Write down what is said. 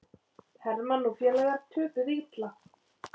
Hermann og félagar töpuðu illa